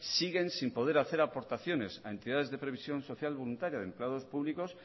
siguen sin poder hacer aportaciones a entidades de previsión social voluntaria de empleados públicos